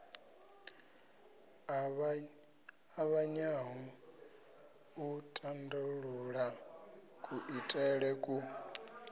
ṱavhanyaho u tandulula kuitele ku